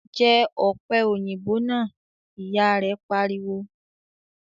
"Jẹ́ ọ̀pẹ̀ òyìnbó náà!" Ìyà rẹ pariwo